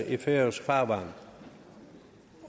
i færøsk farvand